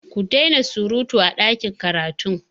Ku dai na surutu a ɗakin karatun!